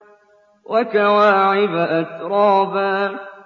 وَكَوَاعِبَ أَتْرَابًا